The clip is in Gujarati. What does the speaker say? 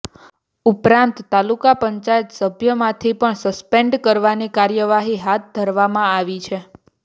ઉપરાંત તાલુકા પંચાયત સભ્યમાંથી પણ સસ્પેન્ડ કરવાની કાર્યવાહી હાથ ધરવામાં આવી છે